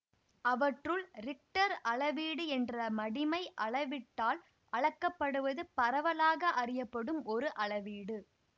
அவற்றுள் ரிக்டர் அளவீடு என்ற மடிமை அளவீட்டால் அளக்கப்படுவது பரவலாக அறியப்படும் ஒரு அளவீடு